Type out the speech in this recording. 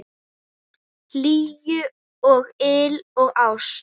Hlýju og yl og ást.